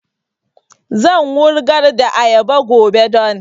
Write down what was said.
Zan wurgar da ayaba gobe don